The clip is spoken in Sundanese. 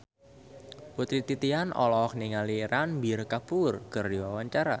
Putri Titian olohok ningali Ranbir Kapoor keur diwawancara